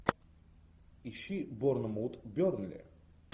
ищи борнмут бернли